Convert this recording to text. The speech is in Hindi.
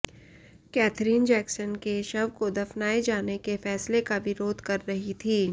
कैथरीन जैक्सन के शव को दफनाए जाने के फैसले का विरोध कर रही थीं